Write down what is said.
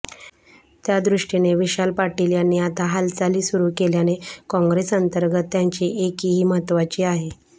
त्यादृष्टीने विशाल पाटील यांनी आता हालचाली सुरू केल्याने काँग्रेसअंतर्गत त्यांची एकीही महत्त्वाची आहे